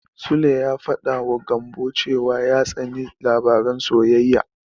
Sule ya faɗawa Gambo cewa ya tsani labaran soyayya.